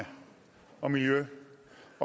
kommende år